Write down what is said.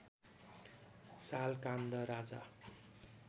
साल काण्ड राजा